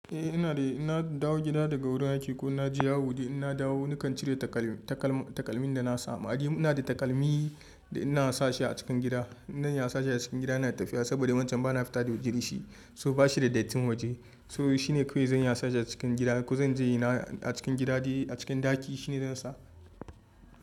Eh ina da, in na dawo gida daga wurin aiki ko na je yawo dai, in na dawo nakan cire takalmin da na sa ma. Ni ina da takalmin da ina sa shi a cikin gida. iNa sa shi a cikin gida ina tafiya saboda wancan bana fita waje da shi, so ba shi da dattin waje. To shine kawai zan iya sa shi a cikin gida ko zan je ina a cikin gida dai a cikin ɗaki shine zan sa.